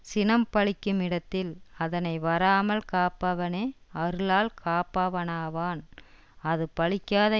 சினம் பலிக்குமிடத்தில் அதனை வராமல் காப்பவனே அருளால் காப்பவனாவான் அது பலிக்காத